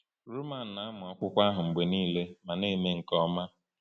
Roman na-amụ akwụkwọ ahụ mgbe niile ma na-eme nke ọma.